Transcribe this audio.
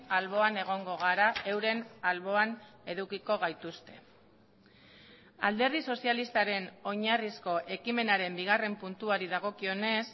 alboan egongo gara euren alboan edukiko gaituzte alderdi sozialistaren oinarrizko ekimenaren bigarren puntuari dagokionez